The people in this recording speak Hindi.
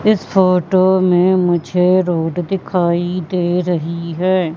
इस फोटो में मुझे रोड दिखाई दे रही है।